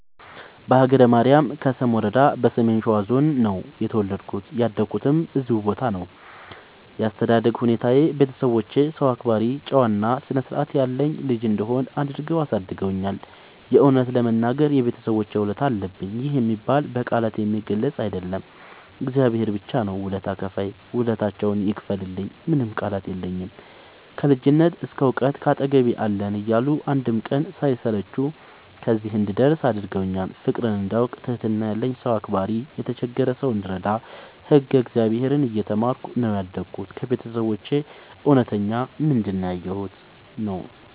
በሀገረ ማርያም ከሰም ወረዳ በሰሜን ሸዋ ዞን ነው የተወለድኩት ያደኩትም እዚሁ ቦታ ነው። ያስተዳደግ ሁኔታዬ ቤተሰቦቼ ሰው አክባሪ ጨዋ እና ስርዐት ያለኝ ልጅ እንድሆን አድርገው አሳድገውኛል። የእውነት ለመናገር የቤተሰቦቼ ውለታ አለብኝ ይህ የሚባል በቃላት የሚገለፅ አይደለም እግዚአብሔር ብቻ ነው ውለታ ከፍይ ውለታቸውን ይክፈልልኝ ምንም ቃላት የለኝም። ከልጅነት እስከ ዕውቀት ካጠገቤ አለን እያሉ አንድም ቀን ሳይሰለቹ ከዚህ እንድደርስ አድርገውኛል። ፍቅርን እንዳውቅ ትህትና ያለኝ ሰው አክባሪ የተቸገረ ሰው እንድረዳ ህግ እግዚአብሔርን እየተማርኩ ነው ያደግሁት ከቤተሰቦቼ እውነተኛ ምንድን ያየሁበት ነው።